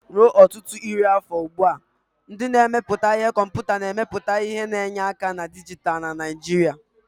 Ruo ọtụtụ iri afọ ugbu a, ndị na-emepụta ihe komputa na-emepụta ihe na enye aka na dijitalụ na Naijiria.